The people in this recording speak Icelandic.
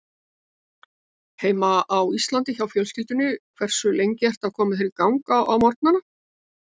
Heima á Íslandi hjá fjölskyldunni Hversu lengi ertu að koma þér í gang á morgnanna?